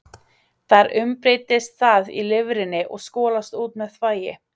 Þar umbreytist það í lifrinni og skolast út með þvagi.